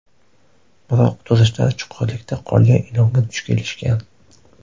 Biroq, turistlar chuqurlikda qolgan ilonga duch kelishgan.